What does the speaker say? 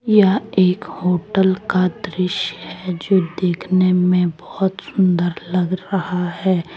यह एक होटल का दृश्य है जो देखने में बहोत सुंदर लग रहा है ।